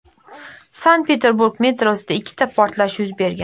Sankt-Peterburg metrosida ikkita portlash yuz bergan.